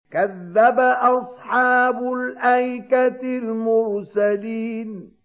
كَذَّبَ أَصْحَابُ الْأَيْكَةِ الْمُرْسَلِينَ